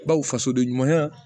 Baw faso de ɲuman